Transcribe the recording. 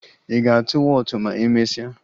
Ị ga-atụ wọọtụ ma emesịa?